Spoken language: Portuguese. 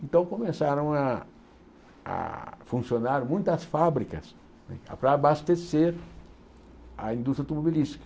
Então começaram a a funcionar muitas fábricas para abastecer a indústria automobilística.